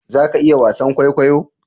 Za ki iya wasan kwaikwayo?